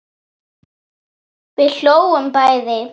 Við hlógum bæði.